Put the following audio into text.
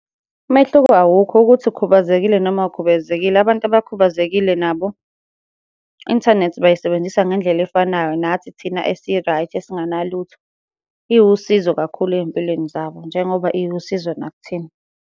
Umehluko awukho, ukuthi ukhubazekile noma awukhubazekile, abantu abakhubazekile nabo i-inthanethi bayisebenzisa ngendlela efanayo nathi thina esi-right esinganalutho. Iwusizo kakhulu ey'mpilweni zabo njengoba iwusizo nakuthina.